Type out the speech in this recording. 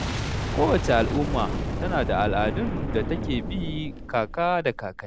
Kowace al’umma tana da al’adun da ta ke bi kaka da kakanni.